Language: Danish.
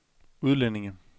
udlændinge